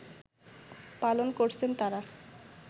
পালন করছেন তারা